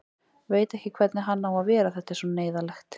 Veit ekki hvernig hann á að vera, þetta er svo neyðarlegt.